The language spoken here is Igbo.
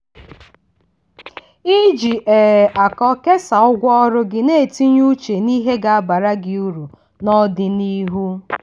iji um akọ kesaa ụgwọ ọrụ gị na-etinye uche na ihe ga-abara gị uru n'ọdịnihu.